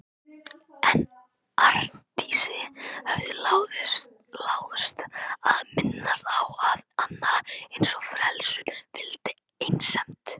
En Arndísi hafði láðst að minnast á að annarri eins frelsun fylgdi einsemd.